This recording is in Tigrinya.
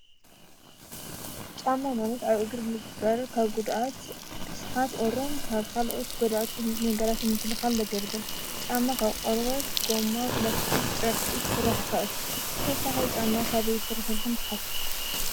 ጫማ መሬት ኣብ እግሪ ልግበር ካብ ጕድኣት፣ ርስሓት ፣ቑርን ካብ ኻልኦት ጉድኣቲ ነገራት ንምክልኻል ለገልግል እዩ፡፡ ጫማ ካብ ቆርወት፣ ጎማ፣ ኘላስቲ ጨርቂ ክስራሕ ይኽእል፡፡ ብተወሳኺ ጫማ ካበይ ይስራሕ ኢልኹም ትሓስቡ?